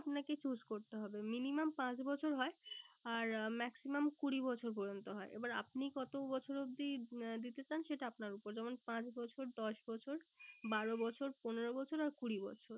আপনাকে choose করতে হবে। minimum পাঁচ বছর হয়। আর maximum কুড়ি বছর পর্যন্ত হয়। এবার আপনি কত বছর অবধি আহ দিতে চান সেটা আপনার ওপর যেমন পাঁচ বছর, দশ বছর, বারো বছর, পনেরো বছর আর কুড়ি বছর।